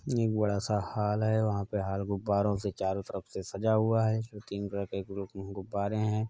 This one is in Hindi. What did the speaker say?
यह एक बड़ा सा हॉल है वहाँ पर हॉल गुब्बारों से चारो तरफ से सजा हुआ है उसमें तीन कलर के गुरुब गुब्बारे हैं |